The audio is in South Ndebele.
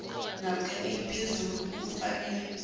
namkha eliphezulu kufanele